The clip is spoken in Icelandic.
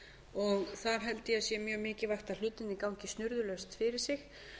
og þar held ég að sé mjög mikilvægt að hlutirnir gangi snurðulaust fyrir sig